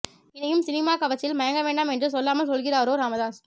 இனியும் சினிமா கவர்ச்சியில் மயங்க வேண்டாம் என்று சொல்லாமல் சொல்கிறாரோ ராமதாஸ்